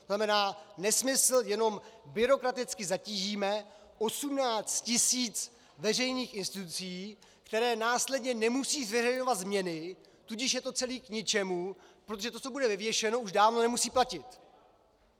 To znamená nesmysl, jenom byrokraticky zatížíme 18 tisíc veřejných institucí, které následně nemusí zveřejňovat změny, tudíž je to celé k ničemu, protože to, co bude vyvěšeno, už dávno nemusí platit.